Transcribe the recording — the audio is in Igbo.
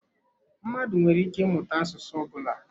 Mmadụ nwere ike ịmụta asụsụ ọ bụla.